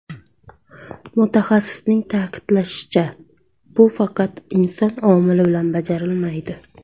Mutaxassisning ta’kidlashicha, bu faqat inson omili bilan bajarilmaydi.